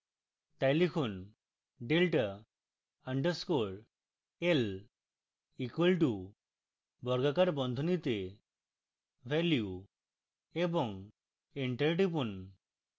তাই লিখুন delta underscore l equal to বর্গাকার বন্ধনীতে ভ্যালু এবং enter টিপুন